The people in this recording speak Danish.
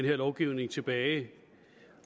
her lovgivning tilbage